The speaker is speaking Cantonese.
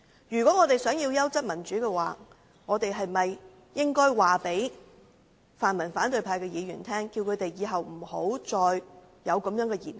如果我們想要優質的民主，是否應該告訴泛民反對派議員日後不要再作出這樣的言行？